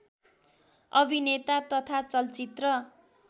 अभिनेता तथा चलचित्र